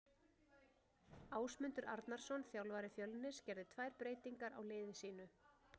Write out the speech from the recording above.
Ásmundur Arnarsson þjálfari Fjölnis gerði tvær breytingar á liði sínu.